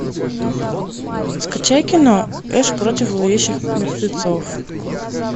скачай кино эш против зловещих мертвецов